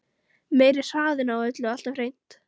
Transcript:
Meiri hraðinn á öllu alltaf hreint.